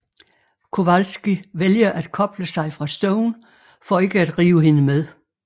Kowalski vælger at koble sig fra Stone for ikke at rive hende med